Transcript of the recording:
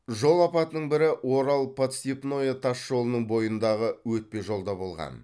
жол апатының бірі орал подстепное тас жолының бойындағы өтпе жолда болған